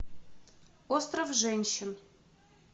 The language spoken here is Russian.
остров женщин